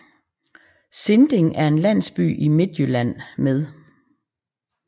Sinding er en landsby i Midtjylland med